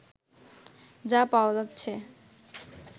যা পাওয়া যাচ্ছে